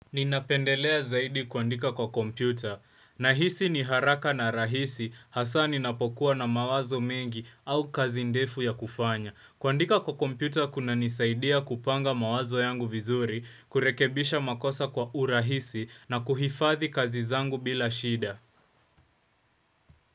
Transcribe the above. Ninapendelea zaidi kuandika kwa kompyuta. Nahisi ni haraka na rahisi hasa ninapokuwa na mawazo mengi au kazi ndefu ya kufanya. Kuandika kwa kompyuta kuna nisaidia kupanga mawazo yangu vizuri, kurekebisha makosa kwa urahisi na kuhifadhi kazi zangu bila shida.